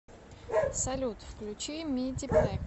салют включи мидиблэк